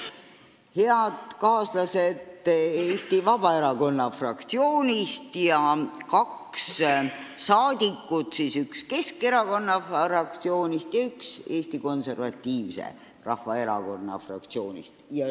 Head kaaslased Eesti Vabaerakonna fraktsioonist ja kaks rahvasaadikut, üks Keskerakonna fraktsioonist ja üks Eesti Konservatiivse Rahvaerakonna fraktsioonist!